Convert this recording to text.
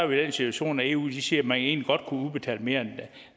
den situation at eu siger at man egentlig godt kunne udbetale mere